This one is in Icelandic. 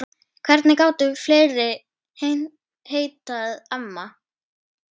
Hvernig gátu fleiri heitið amma?